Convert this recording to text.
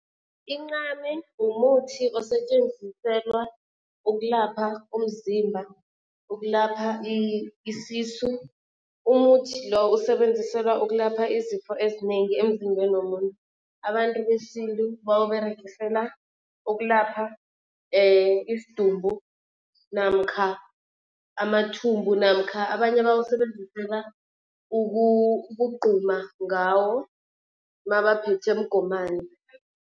Incame mumuthi osetjenziselwa ukulapha umzimba, ukulapha isisu. Umuthi lo usebenziselwa ukulapha izifo ezinengi emzimbeni womuntu. Abantu besintu bawUberegisela ukulapha isidumbu namkha amathumbu namkha abanye bawusebenzisela ukugquma ngawo mabaphethwe mgomani.